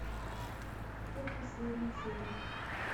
тут последняя серия